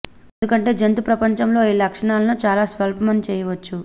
ఎందుకంటే జంతు ప్రపంచంలో ఈ లక్షణాలను చాలా స్వల్పం అని చేయవచ్చు